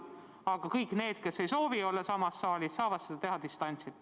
Aga kõik need, kes ei soovi temaga olla samas saalis, saavad osaleda distantsilt.